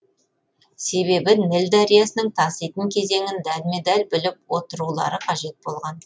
себебі ніл дариясының таситын кезеңін дәлме дәл біліп отырулары қажет болған